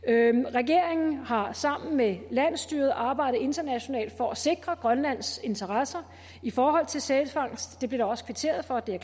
regeringen har sammen med landsstyret arbejdet internationalt for at sikre grønlands interesser i forhold til sælfangst det blev der også kvitteret for og det er